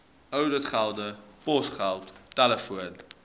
ouditgelde posgeld telefoon